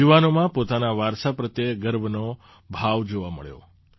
યુવાનોમાં પોતાના વારસા પ્રત્યે ગર્વનો ભાવ જોવા મળ્યો